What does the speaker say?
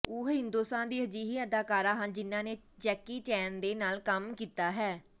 ਉਹ ਹਿੰਦੁਸਤਾਨ ਦੀ ਅਜਿਹੀ ਅਦਾਕਾਰਾ ਹਨ ਜਿਨ੍ਹਾਂ ਨੇ ਜੈਕੀ ਚੇਨ ਦੇ ਨਾਲ ਕੰਮ ਕੀਤਾ ਹੈ